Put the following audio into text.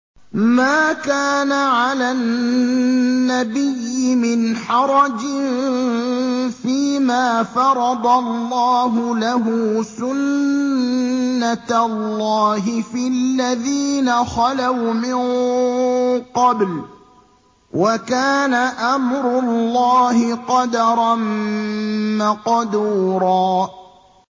مَّا كَانَ عَلَى النَّبِيِّ مِنْ حَرَجٍ فِيمَا فَرَضَ اللَّهُ لَهُ ۖ سُنَّةَ اللَّهِ فِي الَّذِينَ خَلَوْا مِن قَبْلُ ۚ وَكَانَ أَمْرُ اللَّهِ قَدَرًا مَّقْدُورًا